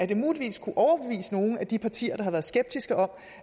det muligvis kunne overbevise nogle af de partier der har været skeptiske om